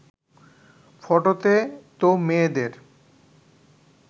ফটোতে তো মেয়েদের